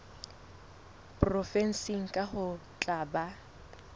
provenseng kang ho tla ba